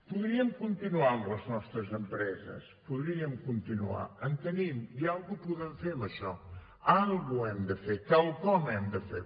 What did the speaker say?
podríem continuar amb les nostres empreses podríem continuar en tenim i alguna cosa podem fer amb això quelcom hem de fer